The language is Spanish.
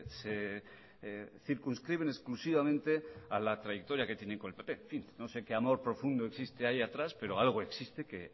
se circunscriben exclusivamente a la trayectoria que tienen con el pp en fin no sé que amor profundo existe ahí atrás pero algo existe que